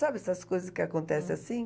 Sabe essas coisas que acontecem assim?